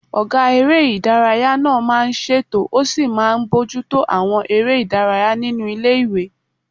Ọgá eré ìdárayá náà máa n ṣètò ó sì máa n bojútó àwọn eré ìdárayá nínu ilé-ìwé